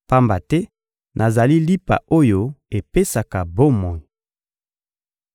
pamba te nazali lipa oyo epesaka bomoi.